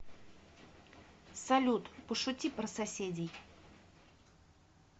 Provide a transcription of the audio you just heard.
салют пошути про соседей